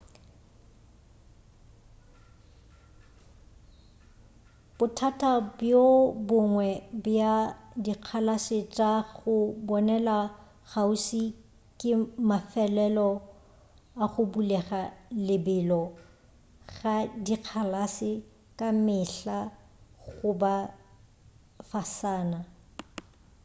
bothata bjo bongwe bja dikgalase tša go bonela kgauswi ke mafelelo a go bulega lebelo ga dikgalase ka mehla go ba fasana